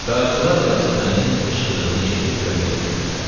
Qaraçılar Yasəmənin qışqırığını eşidib köməyə töküldülər.